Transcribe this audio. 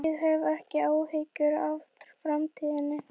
Ég hef ekki áhyggjur af framtíðinni.